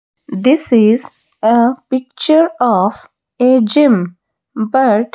this is a picture of a gym but--